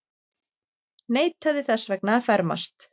Neitaði þess vegna að fermast.